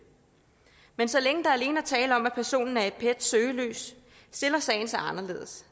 men så længe der alene er tale om at personen er i pets søgelys stiller sagen sig anderledes